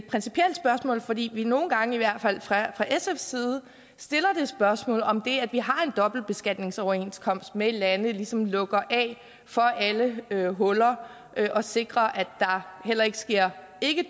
principielt spørgsmål fordi vi nogle gange i hvert fald fra sfs side stiller spørgsmålet om det at vi har dobbeltbeskatningsoverenskomster med lande ligesom lukker af for alle huller og sikrer at der heller ikke sker